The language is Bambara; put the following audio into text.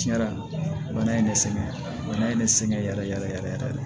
Tiɲɛ na bana in ne sɛgɛn bana ye ne sɛgɛn yɛrɛ yɛrɛ yɛrɛ de